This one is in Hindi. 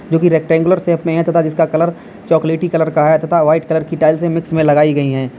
जो की रेक्टएंगुलर शेप में हैं तथा जिसका कलर चॉकलेटी कलर का है तथा व्हाइट कलर की टाइल्स से मिक्स में लगाई गई है।